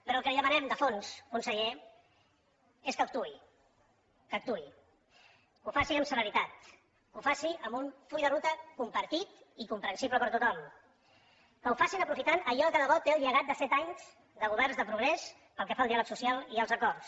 però el que li demanem de fons conseller és que actuï que actuï que ho faci amb celeritat que ho faci amb un full de ruta compartit i comprensible per tothom que ho facin aprofitant allò que de bo té el llegat de set anys de governs de progrés pel que fa al diàleg social i als acords